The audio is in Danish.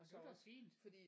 Det var da også fint